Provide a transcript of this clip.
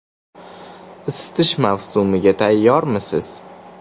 Isitish mavsumiga tayyormisiz?.